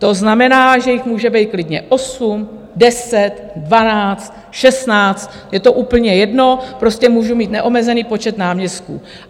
To znamená, že jich může být klidně 8, 10, 12, 16, je to úplně jedno, prostě můžu mít neomezený počet náměstků.